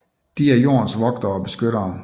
De er jordens vogtere og beskyttere